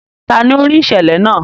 Tani o rii iṣẹlẹ naa?